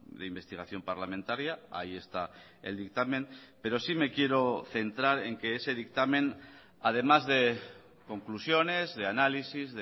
de investigación parlamentaria ahí esta el dictamen pero sí me quiero centrar en que ese dictamen además de conclusiones de análisis